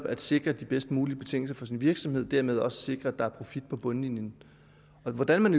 at sikre de bedst mulige betingelser for sin virksomhed og dermed også sikre at der er profit på bundlinjen og hvordan man